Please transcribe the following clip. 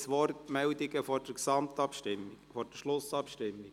Gibt es Wortmeldungen vor der Schlussabstimmung?